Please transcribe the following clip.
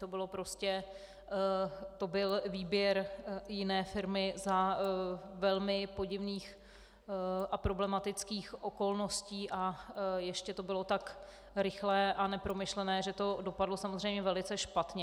To byl výběr jiné firmy za velmi podivných a problematických okolností a ještě to bylo tak rychlé a nepromyšlené, že to dopadlo samozřejmě velice špatně.